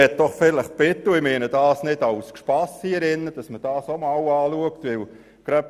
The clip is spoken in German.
Ich möchte darum bitten – dies meine ich nicht als Spass –, die Schützenmatte einmal zu prüfen.